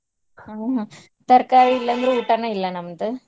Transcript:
ಹ್ಮ್ ತರಕಾರಿ ಇಲ್ಲಂದ್ರ್ ಊಟಾನ ಇಲ್ಲಾ ನಮ್ದ್.